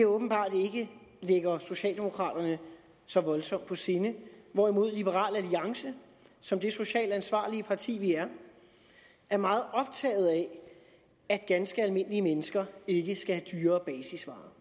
åbenbart ikke ligger socialdemokraterne så voldsomt på sinde hvorimod liberal alliance som det socialt ansvarlige parti vi er er meget optaget af at ganske almindelige mennesker ikke skal have dyrere basisvarer